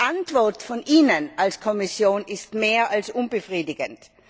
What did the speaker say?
Die Antwort von Ihnen als Kommission ist mehr als unbefriedigend.